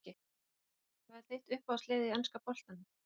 Öll meiðslin Hvað er þitt uppáhalds lið í enska boltanum?